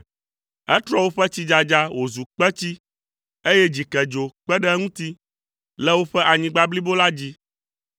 Etrɔ woƒe tsidzadza wòzu kpetsi, eye dzikedzo kpe ɖe eŋuti le woƒe anyigba blibo la dzi.